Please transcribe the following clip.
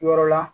Yɔrɔ la